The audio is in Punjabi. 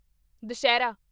ਦੁਸਹਿਰਾ